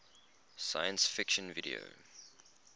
science fiction video